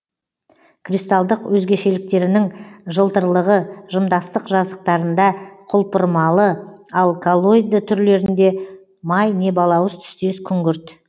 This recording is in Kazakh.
кристалдық өзгешеліктерінің жылтырлығы жымдастық жазықтарында құлпырмалы ал коллоиды түрлерінде май не балауыз түстес күңгірт